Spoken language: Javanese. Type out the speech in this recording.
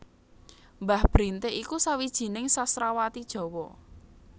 Mbah Brintik iku sawijining sastrawati Jawa